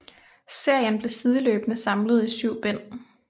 Serien blev sideløbende samlet i syv bind